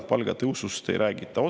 Palgatõusust ei räägita otsesõnu.